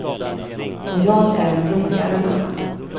Och jag är en roligare mamma.